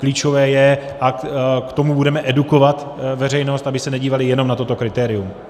Klíčové je - a k tomu budeme edukovat veřejnost, aby se nedívala jenom na toto kritérium.